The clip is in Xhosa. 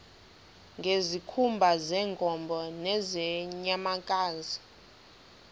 ngezikhumba zeenkomo nezeenyamakazi